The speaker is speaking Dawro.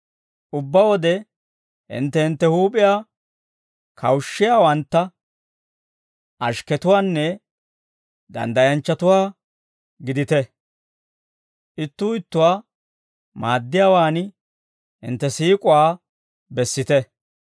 Ubbaa wode hintte hintte huup'iyaa kawushshiyaawantta, ashikketuwaanne danddayanchchatuwaa gidite; ittuu ittuwaa maaddiyaawaan hintte siik'uwaa bessite.